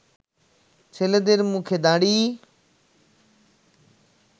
ছেলেদের মুখে দাড়ি